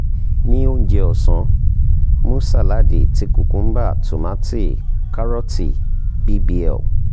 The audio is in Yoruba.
ni ounjẹ ọsan mu saladi ti cucumber tomati karooti bbl